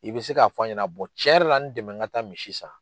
I bɛ se k'a fɔ ɲɛna cɛn yɛrɛ la n dɛmɛ n ka taa misi san.